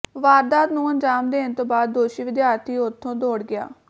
ਵਾਰਦਾਤ ਨੂੰ ਅੰਜਾਮ ਦੇਣ ਤੋਂ ਬਾਅਦ ਦੋਸ਼ੀ ਵਿਦਿਆਰਥੀ ਉਥੋਂ ਦੌੜ ਗਿਆ